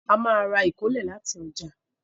A má ra ìkólẹ̀ láti ọjà